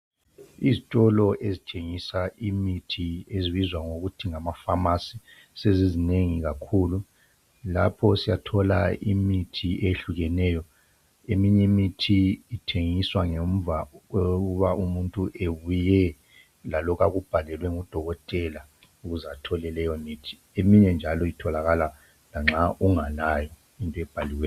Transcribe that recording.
Izitolo ezithengisa imithi ezibizwa ngokuthi amakhemisi sezizinengi kakhulu lapho siyathola imithi eyehlukeneyo. Eminye imithi ithengiswa ngemva kokuba umuntu ebuye ebhalelwe ngudokotela. Eminye njalo iyatholakala noma ungelayo.